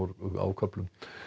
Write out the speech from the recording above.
á köflum